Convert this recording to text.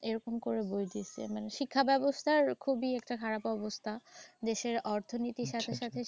এরকম করে বই দিসে। মানে শিক্ষাব্যবস্থার খুবই একটা খারাপ অবস্থা। দেশের অর্থনীতির সাথে সাথে।